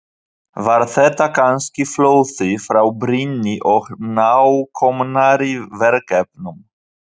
Var þetta kannski flótti frá brýnni og nákomnari verkefnum?